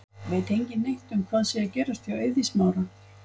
Veit engin neitt um hvað sé að gerast hjá Eiði Smára?